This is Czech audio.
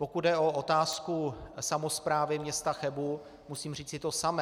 Pokud jde o otázku samosprávy města Chebu, musím říci to samé.